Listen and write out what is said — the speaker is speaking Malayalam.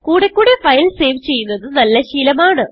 കൂടെ കൂടെ ഫയൽ സേവ് ചെയ്യുന്നത് നല്ല ശീലം ആണ്